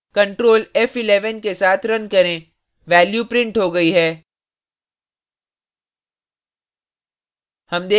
ctrl f11 के साथ run करें value printed हो गई है